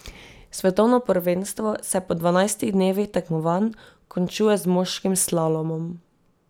Svetovno prvenstvo se po dvanajstih dnevih tekmovanj končuje z moškim slalomom.